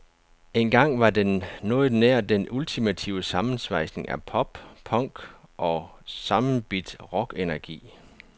Engang var den noget nær den ultimative sammensvejsning af pop, punk og sammenbidt rockenergi.